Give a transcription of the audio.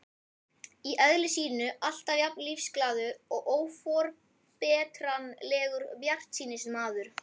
Í eðli sínu alltaf jafn lífsglaður og óforbetranlegur bjartsýnismaður.